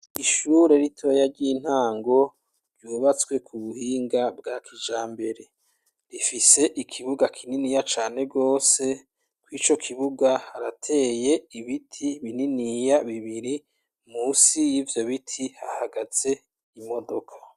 Ishure ritoya ry'intango ryubatswe ku buhinga bwa kijambere, rifise ikibuga kininiya cane gose kw'ico kibuga harateye ibiti bininiya bibiri musi y'ivyo biti hahagaze imodoka